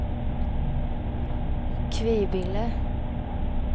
Kvibille